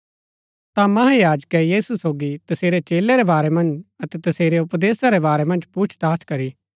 ता महायाजकै यीशु सोगी तसेरै चेलै रै बारै मन्ज अतै तसेरै उपदेशा रै बारै मन्ज पुछताछ करी